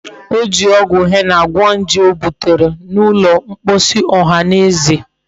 O ji ogwu henna gwo nje o butere n'ulo mkposi ohaneze